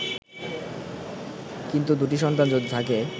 কিন্তু দুটি সন্তান যদি থাকে